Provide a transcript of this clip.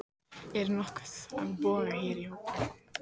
Er nokkur með boga hér í hópnum?